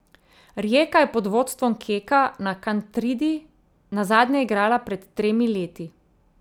Rijeka je pod vodstvom Keka na Kantridi nazadnje igrala pred tremi leti.